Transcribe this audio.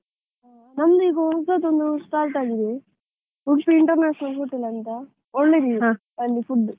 ನಮ್ದು ಈಗ ಹೊಸತೊಂದು start ಆಗಿದೆ, Udupi International Hotel ಅಂತಾ, ಒಳ್ಳೆದಿದೆ ಅಲ್ಲಿ food .